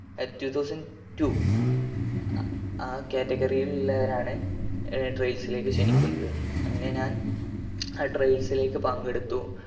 two thousand two ആ ആ category യിൽ ഇല്ലാവരെയാണ് trials ലേക്ക് ക്ഷണിക്കുന്നത് അങ്ങനെ ഞാൻ ആ trials ലേക്ക് പങ്കെടുത്തു